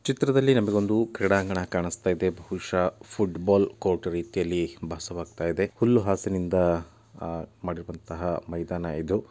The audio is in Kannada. ಚಿತ್ರದಲ್ಲಿ ನಮಗೊಂದು ಕ್ರೀಡಾಂಗಣ ಕಾಣಸ್ತಾಯಿದೆ ಬಹುಶ ಫುಟ್ಬಾಲ್ ಕೋರ್ಟ್ ರೀತಿಯಲ್ಲಿ ಭಾಸವಾಗ್ತಾಯಿದೆ ಹುಲ್ಲು ಹಾಸಿನಿಂದ ಆಹ್ ಮಾಡಿರುವಂತಹ ಮೈದಾನ ಇದು.